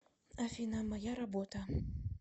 афина моя работа